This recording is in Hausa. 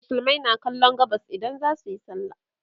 musulmai na kallon gabas idan zasuyi sallah